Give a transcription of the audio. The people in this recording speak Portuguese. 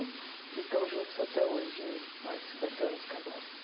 E estão juntos até hoje mais de cinquenta anos casados.